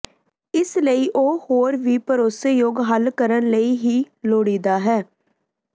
ਇਸ ਲਈ ਉਹ ਹੋਰ ਵੀ ਭਰੋਸੇਯੋਗ ਹੱਲ ਕਰਨ ਲਈ ਹੀ ਲੋੜੀਦਾ ਹੈ